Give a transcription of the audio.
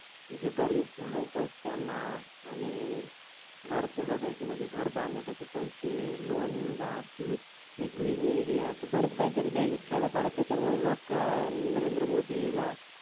जे गरिब लोकयत त्यांना आणि घरकुल द्यायची म्हणजे घर बांधण्यासाठी पैसे LOAN पिक विमे असे बरेच काही काही द्यायलेत खेड्या पाड्यात त्याच्यामुळ लोक नरेंद्र मोदी ला